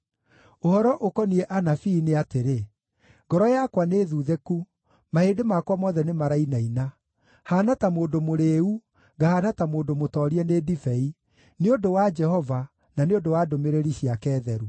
Ũhoro ũkoniĩ anabii nĩ atĩrĩ: Ngoro yakwa nĩthuthĩku; mahĩndĩ makwa mothe nĩmarainaina. Haana ta mũndũ mũrĩĩu, ngahaana ta mũndũ mũtoorie nĩ ndibei, nĩ ũndũ wa Jehova, na nĩ ũndũ wa ndũmĩrĩri ciake theru.